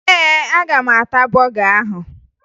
Ee, aga m ata bọga ahụ